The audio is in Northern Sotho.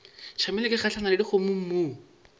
tšamile ke gahlana le dikgomommuu